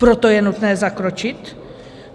Proto je nutné zakročit?